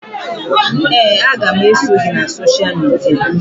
Ee, aga m eso gị na sosha midia